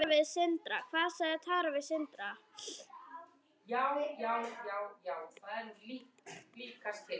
Hvað sagði Tara við Sindra?